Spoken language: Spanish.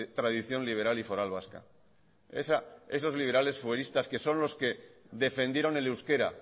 tradición liberal y foral vasca esos liberales fueristas que son los que defendieron el euskera